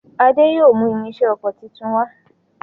Ade yóò mú irinṣẹ́ okò títún wá.